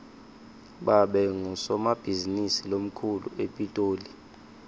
babe ngusomabhizinisi lomkhulu epitoli